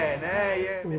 nei